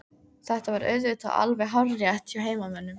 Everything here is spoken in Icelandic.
Þetta var auðvitað alveg hárrétt hjá heimamönnum.